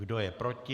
Kdo je proti?